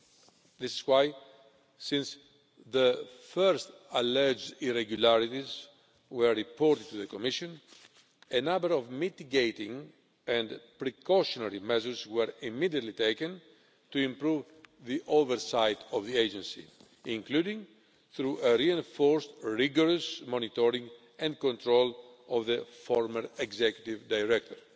That is why, when the first alleged irregularities were reported to the Commission, a number of mitigating and precautionary measures were immediately taken to improve oversight of the agency, including through reinforced and rigorous monitoring and control of the former Executive Director.